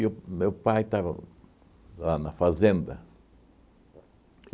o meu pai estava lá na fazenda.